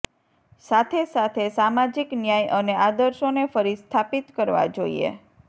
સાથે સાથે સામાજિક ન્યાય અને આદર્શોને ફરી સ્થાપિત કરવા જોઈએ